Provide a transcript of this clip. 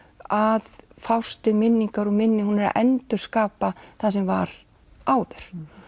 að fást við minningar og minni hún er að endurskapa það sem var áður